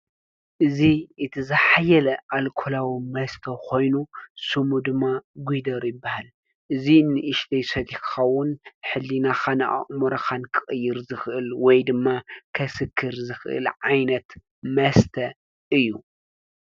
እዚ እቲ ዝሓየለ ኣልኮለዊ መስተ ኮይኑ ሽሙ ደማ ጉደር ይባሃል። እዚ ንእሽተይ ሰቲካ እውን ሕሊናካን ኣእምሮካን ክቅይር ዝከእል ወይድማ ከሰክር ዝከእል ዓይነት መስተ እዩ።